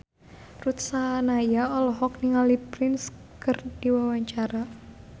Ruth Sahanaya olohok ningali Prince keur diwawancara